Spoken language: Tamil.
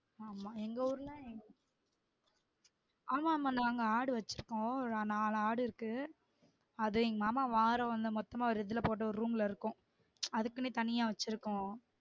ஆமாம் எங்க ஊர்ல ஆமா ஆமா நாங்க ஆடு வச்சி இருக்கோம் நாலு ஆடு இருக்கு அது எங்க மாமா மொத்தமா ஒரு இதுல போட்டு ஒரு room ல இருக்கும் அதுக்குன்னு தனியா வச்சுருக்கோம்